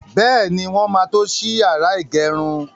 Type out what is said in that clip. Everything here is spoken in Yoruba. Bẹ́ẹ̀ni, wọ́n máa tó ṣí yàrá ìgẹrun.